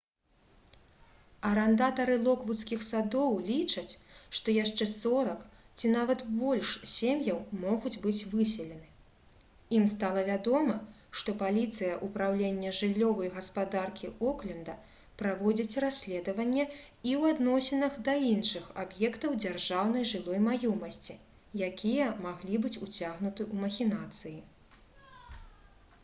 арандатары «локвудскіх садоў» лічаць што яшчэ 40 ці нават больш сем'яў могуць быць выселены. ім стала вядома што паліцыя упраўлення жыллёвай гаспадаркі окленда праводзіць расследаванне і ў адносінах да іншых аб'ектаў дзяржаўнай жылой маёмасці якія маглі быць уцягнуты ў махінацыі